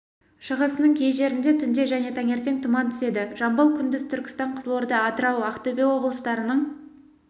шығысының кей жерінде түнде және таңертең тұман түседі жамбыл күндіз түркістан қызылорда атырау ақтөбе облыстарының